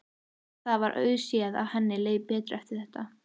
Það var auðséð að henni leið betur eftir þetta.